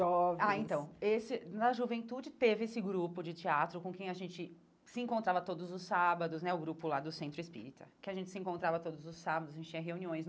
Jovens Ah, então, esse na juventude teve esse grupo de teatro com quem a gente se encontrava todos os sábados, né, o grupo lá do Centro Espírita, que a gente se encontrava todos os sábados, a gente tinha reuniões.